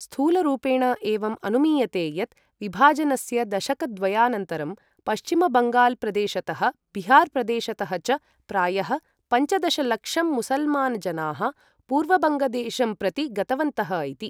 स्थूलरूपेण एवम् अनुमीयते यत् विभाजनस्य दशकद्वयानन्तरं पश्चिम बङ्गाल् प्रदेशतः बिहार प्रदेशतः च प्रायः पञ्चदश लक्षं मुसलमान् जनाः पूर्वबङ्गदेशं प्रति गतवन्तः इति।